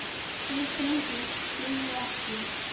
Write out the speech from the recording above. Tveir drengir lifðu ekki.